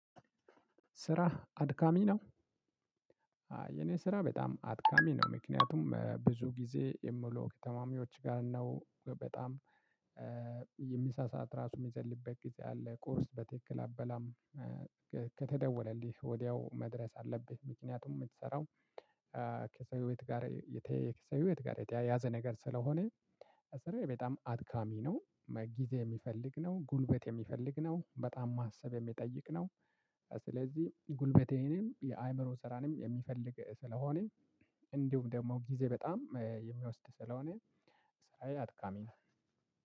ስራ ልአድካሚ ነው? የኔ ስራ በጣም አድካሚ ነው ምክንያቱም ብዙ ጊዜ የምለው ከታማሚዎች ጋር ነው በጣም የምሳ ሰዓት ራሱ የምዘልበት ጊዜ አለ። ቁርስ በትክክል አበላም። ከተደወለልህ ወዲያው መድረስ አለብህ ምክንያቱም የምትሰራው ከሰው ህይወት ጋር የተያያዘ ከሰው ህይወት ጋር የተያያዘ ነገር ስለሆነ ስራዬ በጣም አድካሚ ነው ጊዜ የሚፈልግ ነው ጉልበት የሚፈልግ ነው በጣም ማሰብ የሚጠይቅ ነው። ስለዚህ ጉልበቴንም የአእምሮ ስራንም የሚፈልግ ስለሆነ እንዲሁም ደግሞ ጊዜ በጣም የሚወስድ ስለሆነ ስራዬ አትካሚ ነው